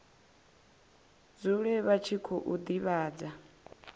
dzule vha tshi khou divhadza